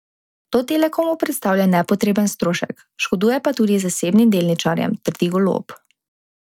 To Telekomu predstavlja nepotreben strošek, škoduje pa tudi zasebnim delničarjem, trdi Golob.